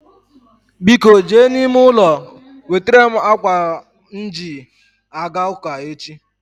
Biko jee n'ime ụlọ wetara m ákwà m ji a ga ụ́kà echi